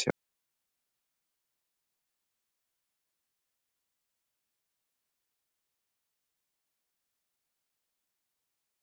Hafsteinn Hauksson: Er algengt að ágreiningur sé svona borinn á torg?